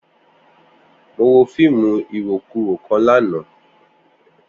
Mo wo fiimu irokuro kan lana.